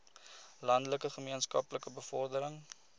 landelike gemeenskappe bevordering